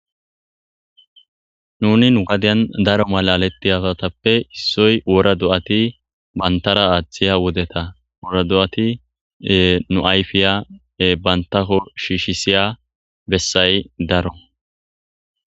Nuni nu gadiyan daro malaletti asatappe issoy wora do7ati bantara aaththiya wodeta wora do7ati nu ayfiya bantako shiishisiya bessay daro